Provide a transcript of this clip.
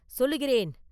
சொல்லுகிறேன்!